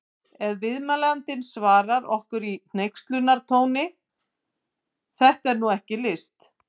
Ef viðmælandinn svarar okkur í hneykslunartóni: Þetta er nú ekki list!